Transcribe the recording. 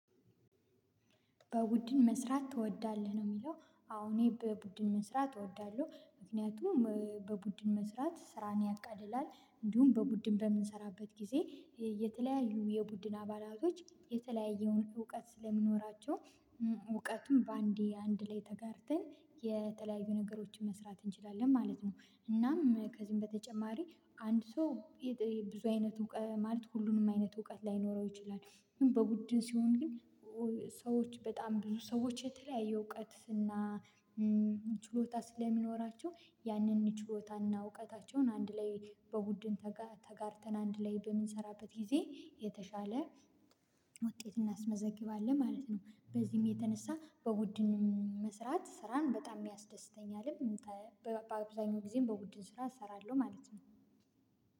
በቡድን መስራት ትወዳለህ? ነው የሚለው አዎ እኔ በቡድን መስራት እወዳለሁ ምክንያቱም በቡድን መስራት ስራን ያቃልላል። እንዲሁም በቡድን በምንሰራበት ጊዜ የተለያዩ የቡድን አባላቶች የተለያየውን እውቀት ስለሚኖራቸው እውቀቱን በአንዴ አንድ ላይ ተጋርተን የተለያዩ ነገሮችን መስራት እንችላለን ማለት ነው እናም ከዚህም በተጨማሪ አንድ ሰው ብዙ አይነት እውቀት ማለት ሁሉንም አይነት እውቀት ላይኖረው ይችላል ግን በቡድን ሲሆን ግን ሰዎች በጣም ብዙ ሰዎች የተለያየ እውቀት እና ችሎታ ስለሚኖራቸው ያንን ችሎታና እውቀታቸውን በቡድን በጋራ ተጋርተን አንድ ላይ በምንሰራበት ጊዜ የተሻለ ውጤት እናስመዘግባለን ማለት ነው። በዚህም የተነሳ በቡድን ስራን መስራት ስራን በጣም ያስደስተኛልም በአብዛኛውም ጊዜ በቡድን ስራ እሰራለሁ ማለት ነው።